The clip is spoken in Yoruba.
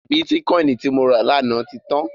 Bítíkọìnì tí mo rà lánàá ti tán.